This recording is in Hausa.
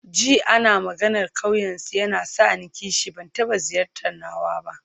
Jin ana maganar ƙauyensu yana sa ni kishi, ban taɓa ziyartar nawa ba.